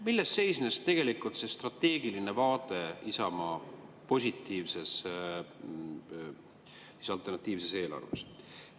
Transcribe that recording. Milles seisnes tegelikult see strateegiline vaade Isamaa positiivses alternatiivses eelarves?